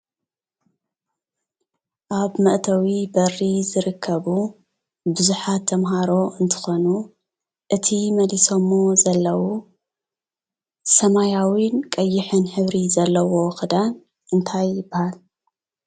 ኣብ መእተዊ በሪ ዝርከቡ ቡዙሓት ተምሃሮ እንትኾኑ እቲ መሊሰምዎ ዘለው ሰማያውን ቀይሕን ሕብሪ ዘለዎ ኽዳን እንታይ ይባሃል?